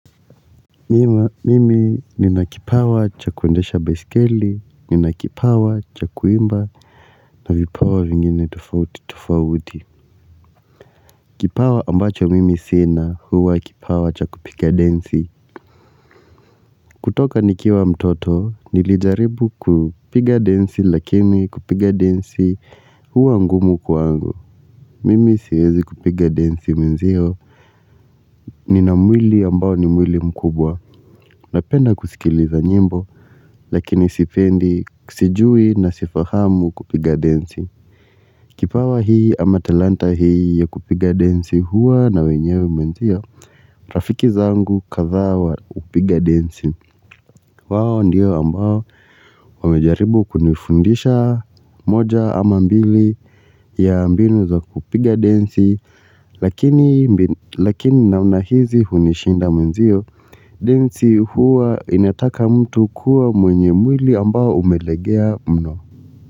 Mimi nina kipawa cha kuendesha baiskeli nina kipawa cha kuimba na vipawa vingine tofauti tofauti Kipawa ambacho mimi sina huwa kipawa cha kupiga densi kutoka nikiwa mtoto nilijaribu kupiga densi lakini kupiga densi huwa ngumu kwangu mimi siwezi kupiga densi mwenzio Nina mwili ambao ni mwili mkubwa napenda kusikiliza nyimbo Lakini sipendi sijui na sifahamu kupiga densi Kipawa hii ama talanta hii ya kupiga densi huwa na wenyewe mwenzio Rafiki zangu kadhaa wa kupiga densi wao ndio ambao wamejaribu kunifundisha moja ama mbili ya mbinu za kupiga densi lakini Lakini namna hizi hunishinda mwenzio densi huwa inataka mtu kuwa mwenye mwili ambao umelegea mno.